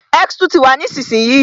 X ni túwítà nísinsìnyí